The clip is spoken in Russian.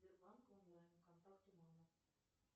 сбербанк онлайн контакту мама